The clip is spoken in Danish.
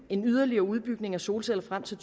en yderligere udbygning af solceller frem til